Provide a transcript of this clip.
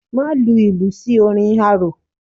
Má lu ìlù sí orin arò.